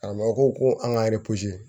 Karamɔgɔ ko ko an ka